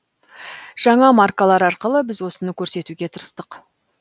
жаңа маркалар арқылы біз осыны көрсетуге тырыстық